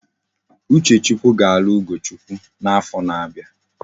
Uchechukwu ga alu ugochukwu na afo na abia